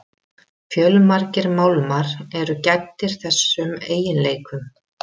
Fjölmargir málmar eru gæddir þessum eiginleikum.